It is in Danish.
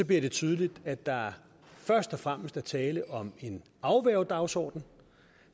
det tydeligt at der først og fremmest er tale om en afværgedagsorden